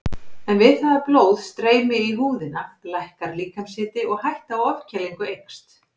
En við það að blóð streymi í húðina lækkar líkamshiti og hætta á ofkælingu eykst.